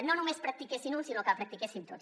no només la practiquessin uns sinó que la practiquéssim tots